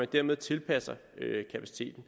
dermed tilpasser kapaciteten